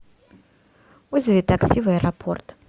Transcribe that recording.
вызови такси в аэропорт